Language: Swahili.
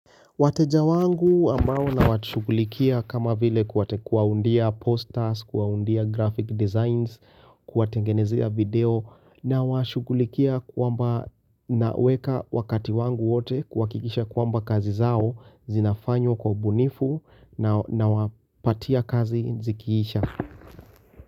Wateja wangu ambao nawatushughulikia kama vile kuwaundia posters, kuwaundia graphic designs, kuwatengenezea video nawashughulikia kwamba naweka wakati wangu wote kuhakikisha kwamba kazi zao zinafanywa kwa ubunifu nawapatia kazi zikiisha.